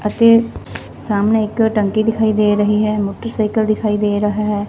ਅਤੇ ਸਾਹਮਣੇ ਇੱਕ ਟੰਕੀ ਦਿਖਾਈ ਦੇ ਰਹੀ ਹੈ ਮੋਟਰਸਾਈਕਲ ਦਿਖਾਈ ਦੇ ਰਹਾ ਹੈ।